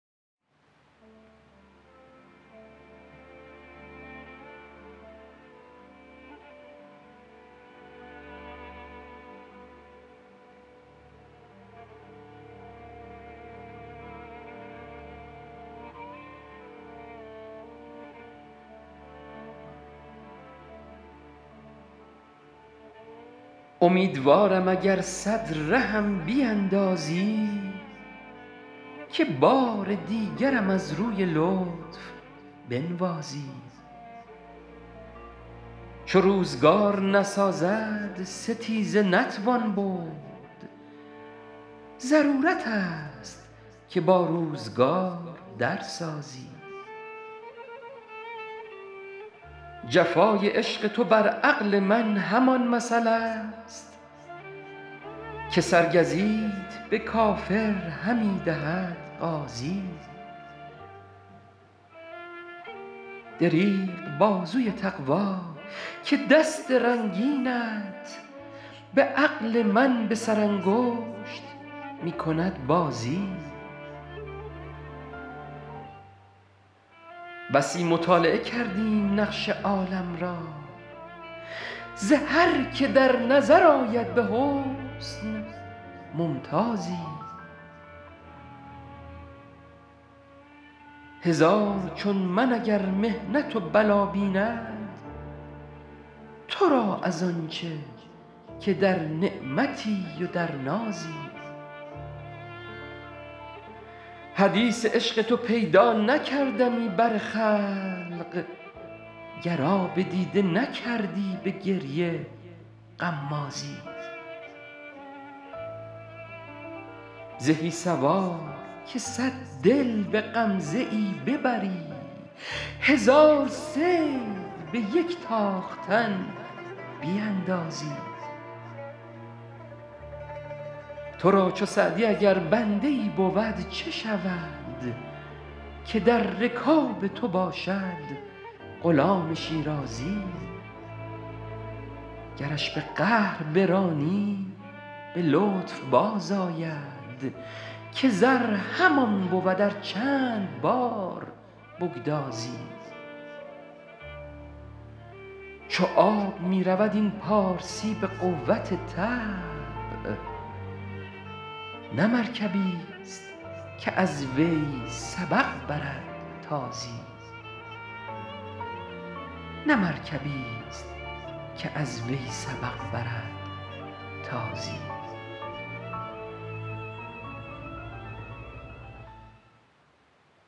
امیدوارم اگر صد رهم بیندازی که بار دیگرم از روی لطف بنوازی چو روزگار نسازد ستیزه نتوان برد ضرورت است که با روزگار در سازی جفای عشق تو بر عقل من همان مثل است که سرگزیت به کافر همی دهد غازی دریغ بازوی تقوا که دست رنگینت به عقل من به سرانگشت می کند بازی بسی مطالعه کردیم نقش عالم را ز هر که در نظر آید به حسن ممتازی هزار چون من اگر محنت و بلا بیند تو را از آن چه که در نعمتی و در نازی حدیث عشق تو پیدا نکردمی بر خلق گر آب دیده نکردی به گریه غمازی زهی سوار که صد دل به غمزه ای ببری هزار صید به یک تاختن بیندازی تو را چو سعدی اگر بنده ای بود چه شود که در رکاب تو باشد غلام شیرازی گرش به قهر برانی به لطف بازآید که زر همان بود ار چند بار بگدازی چو آب می رود این پارسی به قوت طبع نه مرکبیست که از وی سبق برد تازی